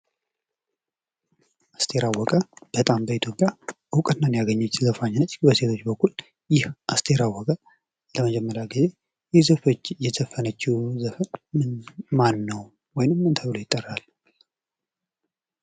አስቴር አወቀ በጣም በኢትዮጵያ እውቅናን ያገኘች ዘፋኝ ነች። በሴቶች በኩል ይህ አስቴር አወቀ ለመጀመርያ ጊዜ የዘፈነችው ዘፈን ማነው ወይንም ምን ተብሎ ይጠራል?